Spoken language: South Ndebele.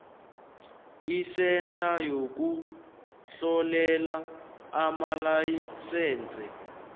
isentha yokuhlolela amalayisense